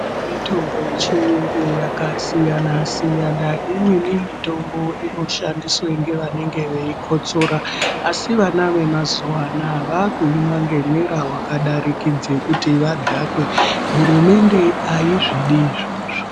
Mitombo yechiyungu yakasiyana siyana. Imweni mitombo inoshandiswa ngevanenge veikotsora asi vana vemazuwa anaya vakuimwa ngemwera wakadarikidza kuti vadhakwe. Hurumende aizvidi izvozvo.